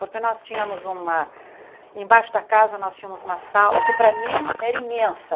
Porque nós tínhamos uma, embaixo da casa nós tínhamos uma sala que para mim era imensa.